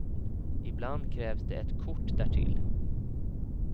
Ibland krävs det ett kort därtill.